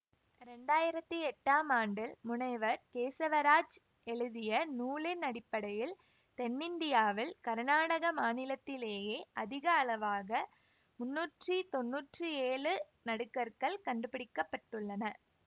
இரண்டாயிரத்தி எட்டாம் ஆண்டில் முனைவர் கேசவராஜ் எழுதிய நூலின் அடிப்படையில் தென்னிந்தியாவில் கருநாடக மாநிலத்திலேயே அதிக அளவாக முன்னூற்றி தொன்னூற்றி ஏழு நடுகற்கள் கண்டுபிடிக்க பட்டுள்ளன